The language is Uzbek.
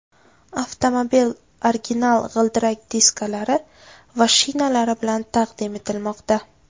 Avtomobil original g‘ildirak diskalari va shinalari bilan taqdim etilmoqda.